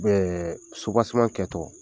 U bɛ subaseman kɛtɔ